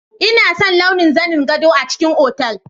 Ina son launi na zanen gado a cikin otal.